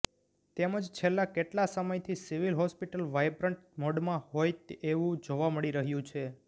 તેમજ છેલ્લા કેટલાક સમયથી સિવિલ હોસ્પિટલ વાયબ્રન્ટ મોડમાં હોય એવંુ જોવા મળી રહ્યું છે